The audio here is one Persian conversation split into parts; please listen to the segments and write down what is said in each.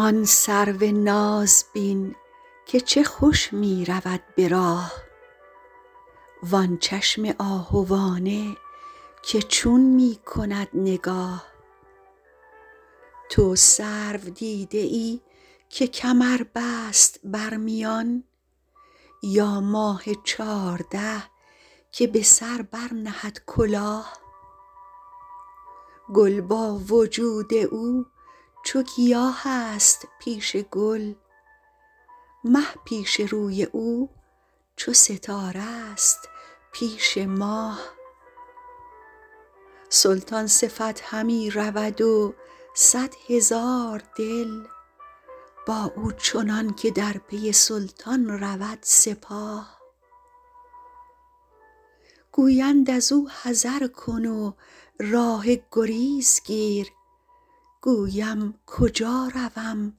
آن سرو ناز بین که چه خوش می رود به راه وآن چشم آهوانه که چون می کند نگاه تو سرو دیده ای که کمر بست بر میان یا ماه چارده که به سر برنهد کلاه گل با وجود او چو گیاه است پیش گل مه پیش روی او چو ستاره ست پیش ماه سلطان صفت همی رود و صد هزار دل با او چنان که در پی سلطان رود سپاه گویند از او حذر کن و راه گریز گیر گویم کجا روم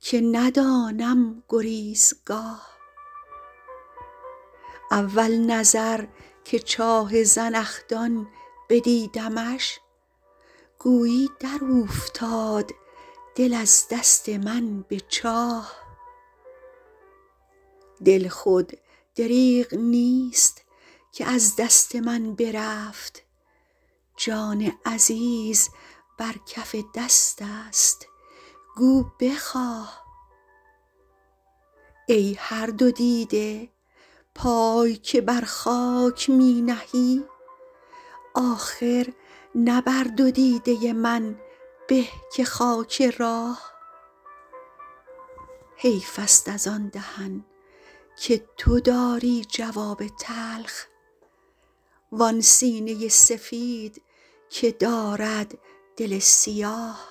که ندانم گریزگاه اول نظر که چاه زنخدان بدیدمش گویی در اوفتاد دل از دست من به چاه دل خود دریغ نیست که از دست من برفت جان عزیز بر کف دست است گو بخواه ای هر دو دیده پای که بر خاک می نهی آخر نه بر دو دیده من به که خاک راه حیف است از آن دهن که تو داری جواب تلخ وآن سینه سفید که دارد دل سیاه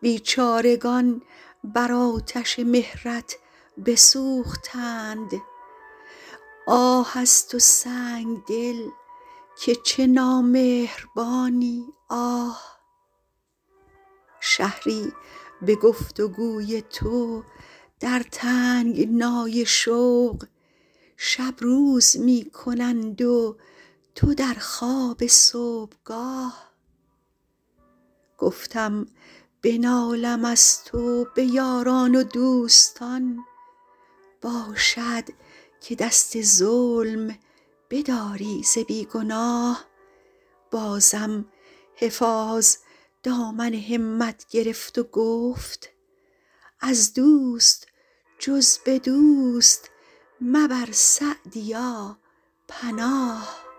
بیچارگان بر آتش مهرت بسوختند آه از تو سنگدل که چه نامهربانی آه شهری به گفت و گوی تو در تنگنای شوق شب روز می کنند و تو در خواب صبحگاه گفتم بنالم از تو به یاران و دوستان باشد که دست ظلم بداری ز بی گناه بازم حفاظ دامن همت گرفت و گفت از دوست جز به دوست مبر سعدیا پناه